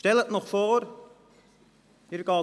Stellen Sie sich Folgendes vor: